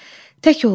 Tək olsun.